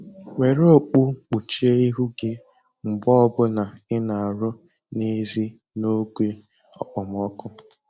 Were okpu kpuchie ihu gị mgbe ọbụla ị na-arụ n'ezi n'oge okpomọkụ